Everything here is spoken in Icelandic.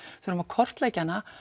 þurfum að kortleggja hana